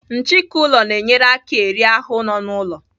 Nchịki ụlọ na-enyere aka eri ahụ nọ n'ụlọ.